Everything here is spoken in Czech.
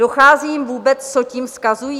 Dochází jim vůbec, co tím vzkazují?